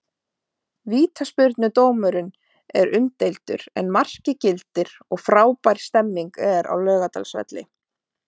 Vítaspyrnudómurinn er umdeildur en markið gildir og frábær stemning er á Laugardalsvelli.